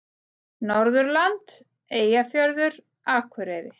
Norðurland: Eyjafjörður, Akureyri.